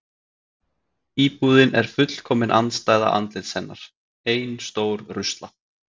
Íbúðin er fullkomin andstæða andlits hennar: Ein stór rusla